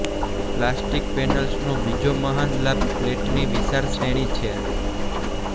plastic પેનલ્સનો બીજો મહાન લાભ પલ્લેટની વિશાળ શ્રેણી છે